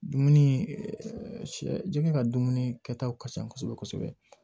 Dumuni sɛ jɛgɛ ka dumuni kɛ taw ka ca kosɛbɛ kosɛbɛ